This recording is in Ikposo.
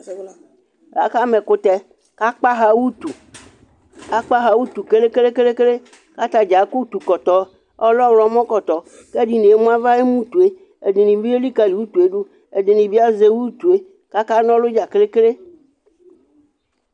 aka ma ɛkutɛ k'akpa ɣa utu akpa ɣa utu kele kele kele k'atadza akɔ utu kɔtɔ ɔlɛ ɔwlɔmɔ kɔtɔ k'ɛdini emu ava n'utue ɛdini bi elikali utue do ɛdini bi azɛ utue k'aka n'ɔlu dza keke